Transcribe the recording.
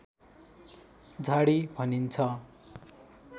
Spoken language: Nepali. झाडी भनिन्छ